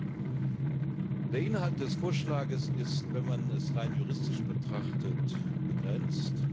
Der Inhalt des Vorschlags ist wenn man es rein juristisch betrachtet begrenzt.